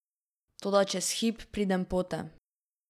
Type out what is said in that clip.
Toda čez hip pridem pote.